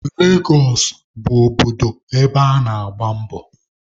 Legos bụ obodo ebe ana-agba mbọ.